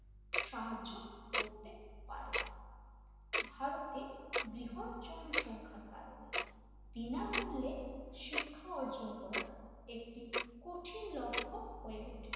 সাহায্য করতে পারে ভারতের বৃহৎ জনসংখ্যার কারণে বিনামূল্যে শিক্ষা অর্জন করা একটি কঠিন লক্ষ্য হয়ে ওঠে,